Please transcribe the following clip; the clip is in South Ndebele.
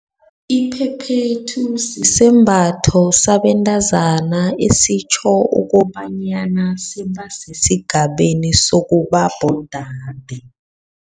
Iphephethu sisembatho sabentazana, esitjho ukobanyana sebasesigabeni sokuba bodade.